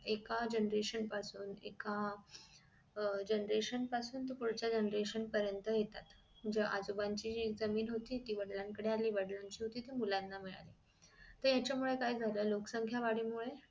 एका generation पासून एका अह अह generation पासून ते पुढचं generation पर्यंत येतात जे आजोबाची जमीन होती ती वडिलांन कडे आली वडिलांची होती ती मुलांना मिळाली तर हेच्या मुले काय झालं लोक संख्या वाढीमुळे